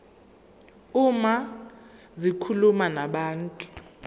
uma zikhuluma nabantu